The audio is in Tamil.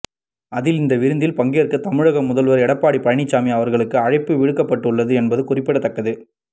அதில் இந்த விருந்தில் பங்கேற்க தமிழக முதல்வர் எடப்பாடி பழனிச்சாமி அவர்களுக்கு அழைப்பு விடுக்கப்பட்டுள்ளது என்பது குறிப்பிடத்தக்கது